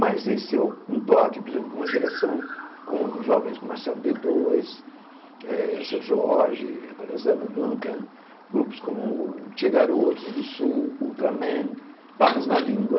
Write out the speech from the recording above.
Mas esse é um toque, por exemplo, com uma geração, com jovens como Marcelo Dê dois, eh Seu Jorge, agora Zélia Duncan, grupos como Tche Garotos do Sul, Ultraman, Papas na Língua.